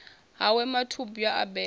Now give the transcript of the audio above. ha we mathubwa a beba